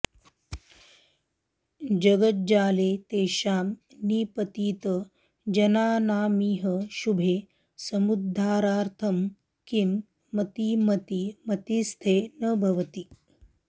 जगज्जाले तेषां निपतित जनानामिह शुभे समुद्धारार्थं किं मतिमति मतिस्ते न भवति